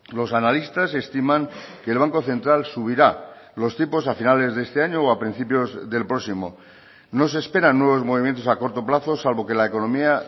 los analistas estiman que el banco central subirá los tipos a finales de este año o a principios del próximo no se esperan nuevos movimientos a corto plazo salvo que la economía